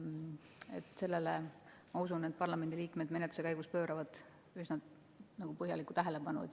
Ma usun, et sellele pööravad parlamendiliikmed menetluse käigus põhjalikku tähelepanu.